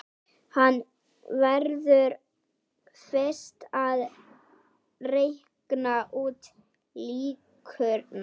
Hann verður fyrst að reikna út líkurnar.